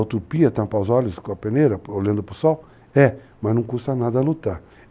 A utopia, tampar os olhos com a peneira, olhando para o sol, é. Mas não custa nada lutar.